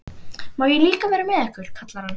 Má ég líka vera með ykkur? kallar hann.